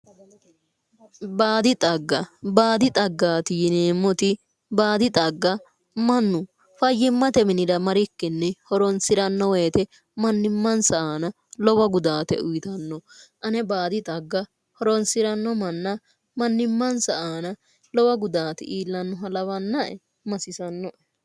Baadi xagga baadi xaggaati yineemmoti baadi xagga mannu fayyimmate minira marikkinni horoonsiranno woyite mannimmansa aana lowo gudaate uyitanno ane baadi xagga horoonsiranno manna mannimmansa aana lowo gudaati iillannoha lawanna'r masisanno'e